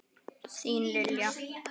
Þín, Lilja.